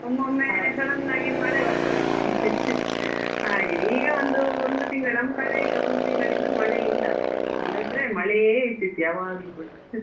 ಒಮೊಮ್ಮೆ sudden ಆಗಿ ಮಳೆ ಬರ್ತದೆ ಹಾಗೆ ಈಗ ಒಂದು ಒಂದು ತಿಂಗಳು ನಮ್ಮ ಕಡೆ ಈಗ ಒಂದು ತಿಂಗಳಿಂದ ಮಳೆ ಇಲ್ಲ ಅಷ್ಟೇ ಇಲ್ಲದಿದ್ರೆ ಮಳೆಯೇ ಇರ್ತಿತ್ತು ಯಾವಾಗ್ಲೂ ಕೂಡ .